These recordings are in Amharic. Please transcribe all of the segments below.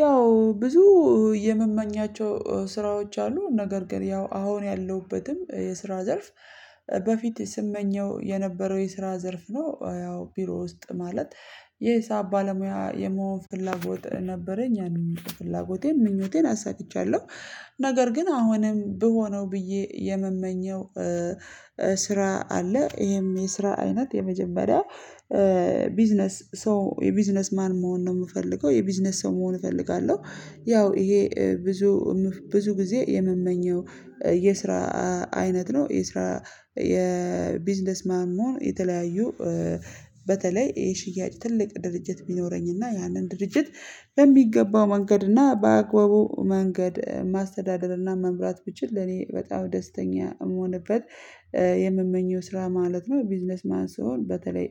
ያው ብዙ የምመኛቸው ስራዎች አሉ ነገር ግን ያው አሁን ያለሁበትም የስራ ዘርፍ በፊት ስመኘው የነበረው የስራ ዘርፍ ነው። ያው ቢሮ ውስጥ ማለት የሂሳብ ባለሙያ የመሆን ፍላጎት ነበረኝ ያንን ፍላጎቴን ምኞቴን አሳክቻለሁ። ነገር ግን አሁንም ብሆነው ብዬ የምመኘው ስራ አለ። ይሄም የስራ አይነት የመጀመሪያ ቢዝነስ ሰው የቢዝነስ ማን መሆን ነው የምፈልገው የቢዝነስ ሰው መሆን እፈልጋለሁ። ያው ይሄ ብዙ ብዙ ጊዜ የምመኘው የስራ አይነት ነው። የስራ የቢዝነስ ማን መሆን የተለያዩ በተለይ የሽያጭ ትልቅ ድርጅት ቢኖረኝና ያንን ድርጅት በሚገባው መንገድና በአግባቡ መንገድ ማስተዳደርና መምራት ብችል እኔ በጣም ደስተኛ የምሆንበት። የምመኘው ስራ ማለት ነው። ቢዝነስ ማን ስሆን በተለይ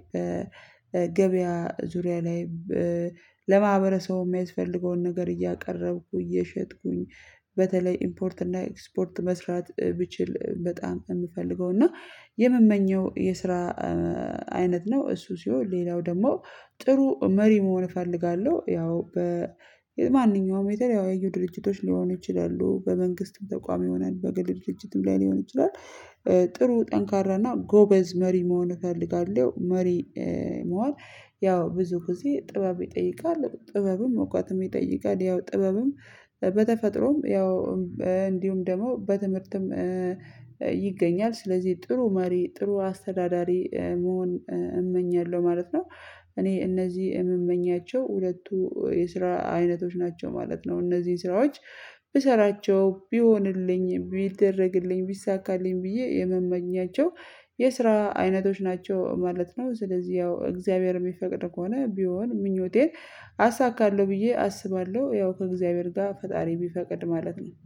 ገበያ ዙሪያ ላይ ለማህበረ ሰው የሚያስፈልገውን ነገር እያቀረብኩ እየሸጥኩኝ። በተለይ ኢምፖርት እና ኤክስፖርት መስራት ብችል በጣም ነው የምፈልገው እና የምመኘው የስራ አይነት ነው። እሱ ሲሆን ሌላው ደግሞ ጥሩ መሪ መሆን እፈልጋለሁ። ያው በ ማንኛውም የተለያዩ ድርጅቶች ሊሆኑ ይችላሉ በመንግስትም ተቋም ይሆናል በግል ድርጅትም ላይ ሊሆን ይችላል። ጥሩ ጠንካራና ጎበዝ መሪ መሆን እፈልጋለሁ። መሪ መሆን ያው ብዙ ጊዜ ጥበብ ይጠይቃል ጥበብም እውቀትም ይጠይቃል። ያው ጥበብም በተፈጥሮም ያው እንዲሁም ደግሞ በትምህርትም ይገኛል ስለዚህ ጥሩ መሪ ጥሩ አስተዳዳሪ መሆን እመኛለሁ። ማለት ነው እኔ እነዚህ የምመኛቸው ሁለቱ የስራ አይነቶች ናቸው ማለት ነው። እነዚህን ስራዎች ብሰራቸው ቢሆንልኝ ቢደረግልኝ ቢሳካልኝ ብዬ የምመኛቸው የስራ አይነቶች ናቸው ማለት ነው። ስለዚህ ያው እግዚአብሔር የሚፈቅድ ከሆነ ቢሆን ምኞቴን አሳካለሁ ብዬ አስባለሁ። ያው ከእግዚአብሔር ጋር ፈጣሪ ቢፈቅድ ማለት ነው